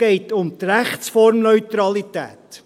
– Es geht um die Rechtsformneutralität.